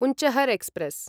Unchahar express